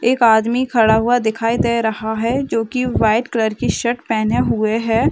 एक आदमी खड़ा हुआ दिखाई दे रहा है जोकि व्हाइट कलर की शर्ट पहने हुए है ।